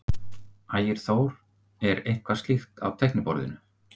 Ægir Þór: Er eitthvað slíkt á teikniborðinu?